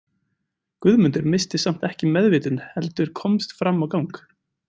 Guðmundur missti samt ekki meðvitund heldur komst fram á gang.